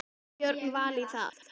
Fá Björn Val í það?